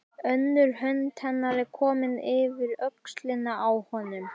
Önnur hönd hennar er komin yfir öxlina á honum.